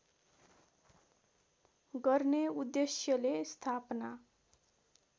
गर्ने उद्देश्यले स्थापना